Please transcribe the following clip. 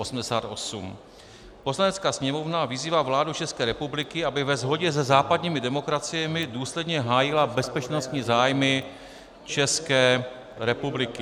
Poslanecká sněmovna vyzývá vládu České republiky, aby ve shodě se západními demokraciemi důsledně hájila bezpečnostní zájmy České republiky.